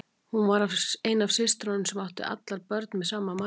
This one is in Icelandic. Hún var ein af systrunum sem áttu allar börn með sama manninum.